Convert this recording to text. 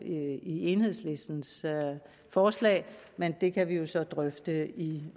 i enhedslistens forslag men det kan vi jo så drøfte